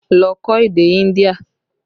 Lọ kọ́ èdè India!